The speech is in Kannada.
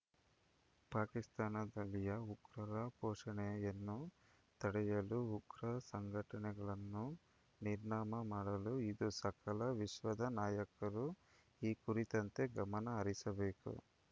ಪಾಕಿಸ್ತಾನದಲ್ಲಿಯ ಉಗ್ರರ ಪೋಷಣೆಯನ್ನು ತಡೆಯಲು ಉಗ್ರ ಸಂಘಟನೆಗಳನ್ನು ನಿರ್ನಾಮ ಮಾಡಲು ಇದು ಸಕಲ ವಿಶ್ವದ ನಾಯಕರು ಈ ಕುರಿತಂತೆ ಗಮನ ಹರಿಸಬೇಕು